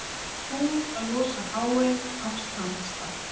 Búið að losa Háey af strandstað